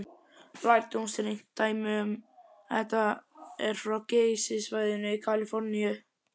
Lærdómsríkt dæmi um þetta er frá Geysissvæðinu í Kaliforníu.